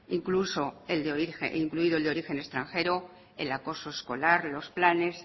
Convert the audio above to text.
incluido el de origen extranjero el acoso escolar los planes